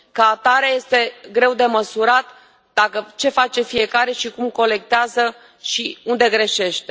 Ca atare, este greu de măsurat ce face fiecare și cum colectează și unde greșește.